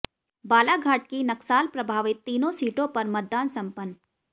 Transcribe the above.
बालाघाट की नक्साल प्रभावित तीनों सीटों पर मतदान समपन्न